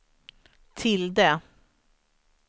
tilde